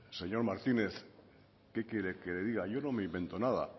señor martínez qué quiere que le diga yo no me invento nada